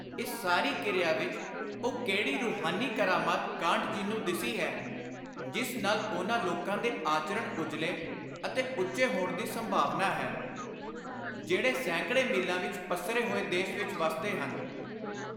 ਇਸ ਸਾਰੀ ਕਿਰਿਆ ਵਿਚ ਉਹ ਕਿਹੜੀ ਰੁਹਾਨੀ ਕਰਾਮਾਤ ਕਾਂਟ ਜੀ ਨੂੰ ਦਿਸੀ ਹੈ, ਜਿਸ ਨਾਲ ਉਨ੍ਹਾਂ ਲੋਕਾਂ ਦੇ ਆਚਰਣ ਉਜਲੇ ਅਤੇ ਉੱਚੇ ਹੋਣ ਦੀ ਸੰਭਾਵਨਾ ਹੈ, ਜਿਹੜੇ ਸੈਂਕੜੇ ਮੀਲਾਂ ਵਿਚ ਪੱਸਰੇ ਹੋਏ ਦੇਸ਼ ਵਿਚ ਵੱਸਦੇ ਹਨ।